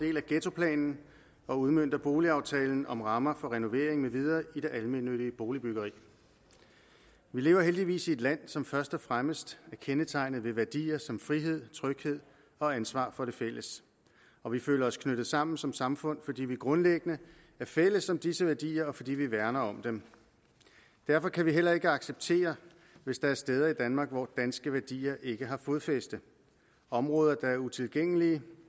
del af ghettoplanen og udmønter boligaftalen om rammer for renovering med videre i det almennyttige boligbyggeri vi lever heldigvis i et land som først og fremmest er kendetegnet ved værdier som frihed tryghed og ansvar for det fælles og vi føler os knyttet sammen som samfund fordi vi grundlæggende er fælles om disse værdier og fordi vi værner om dem derfor kan vi heller ikke acceptere hvis der er steder i danmark hvor danske værdier ikke har fodfæste områder der er utilgængelige